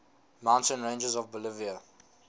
mountain ranges of bolivia